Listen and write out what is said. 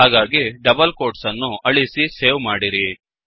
ಹಾಗಾಗಿ double quotes ಅನ್ನು ಅಳಿಸಿ ಸೇವ್ ಮಾಡಿರಿ